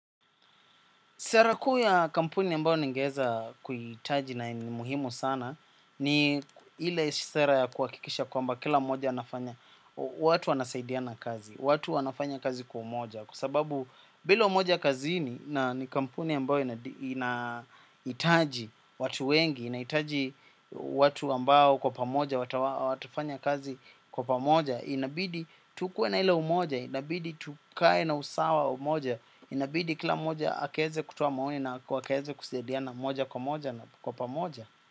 Sera kuu ya kampuni ambao ningeeza kuhitaji na yenye muhimu sana ni ile sera ya kuhakikisha kwamba kila mmoja anafanya watu wanasaidiana kazi, watu wanafanya kazi kwa umoja. Kwa sababu bila umoja kazini kampuni ambayo inahitaji watu wengi, inahitaji watu ambao kwa pamoja, watafanya kazi kwa pamoja. Inabidi tukue na ile umoja, inabidi tukue na usawa umoja. Inabidi kila mmoja akaeze kutoa maoni na akaeze kusaidiana moja kwa moja na kwa pamoja.